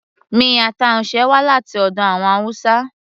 miyan taushe wá láti ọ̀dọ̀ àwọn hausa